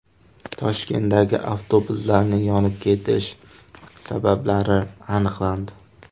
Toshkentdagi avtobuslarning yonib ketish sabablari aniqlandi.